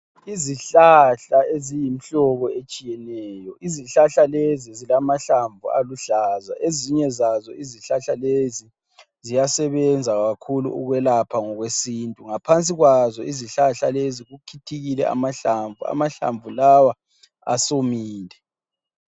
Izihlahla eziyimhlobo etshiyeneyo. Izihlahla lezi zilamahlamvu aluhlaza. Ezinye zazo izihlahla lezo ziyasebenza kakhulu ukwelapha ngokwesintu. Ngaphansi kwazo izihlahla lezo, kukhithikile amahlamvu lawa asewomile.